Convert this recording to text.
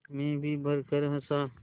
मैं जी भरकर हँसा